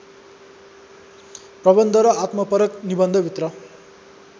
प्रबन्ध र आत्मपरक निबन्धभित्र